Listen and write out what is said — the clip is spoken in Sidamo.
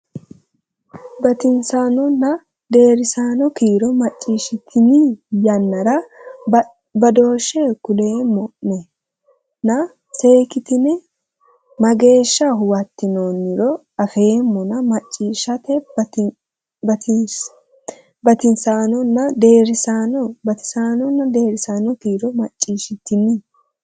Batinyisaanonna deerrisaano kiiro macciishshitini yannara badooshshe kuleemmo a nena seekitine mageeshsha huwattinoonniro afeemmona macciishshe Batinyisaanonna deerrisaano Batinyisaanonna deerrisaano kiiro macciishshitini.